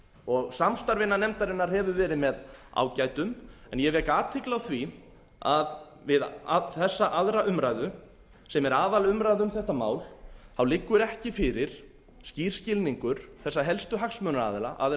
og samstarfið innan nefndarinnar hefur verið með ágætum en ég vek athygli á því að við þessa annarrar umræðu sem er aðalumræða um þetta mál þá liggur ekki fyrir skýr skilningur þessara helstu hagsmunaaðila aðila